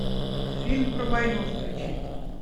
фильм про войну включи